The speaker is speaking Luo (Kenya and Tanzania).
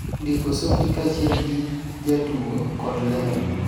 ndiko Softie kaachiel gi Jatugo kod Lero